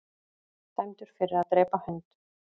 Dæmdur fyrir að drepa hund